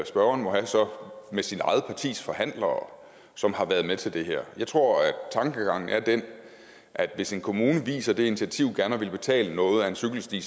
spørgeren så må med sit eget partis forhandlere som har været med til det her jeg tror at tankegangen er den at hvis en kommune viser det initiativ gerne selv at ville betale noget af en cykelsti